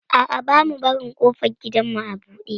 A'a, bamu barin ƙofar gidanmu a buɗe.